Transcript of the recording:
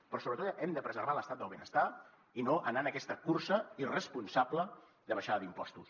però sobretot hem de preservar l’estat del benestar i no anar en aquesta cursa irresponsable de baixada d’impostos